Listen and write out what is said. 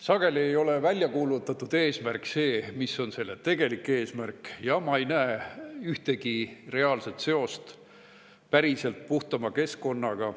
Sageli ei ole väljakuulutatud eesmärk see, mis on tegelik eesmärk, ja ma ei näe sellel ühtegi reaalset seost päriselt puhtama keskkonnaga.